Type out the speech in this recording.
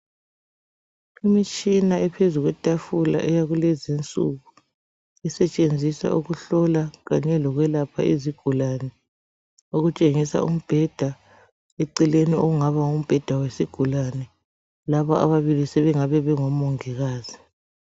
Imitshina ephezu kwetafula eyakulezi insuku, isetshenziswa ukuhlola kanye lokwelapha izigulane okutshengisa umbheda, eceleni okungaba ngumbheda wesigulane. Laba ababili sebengabe bengoMongikazi.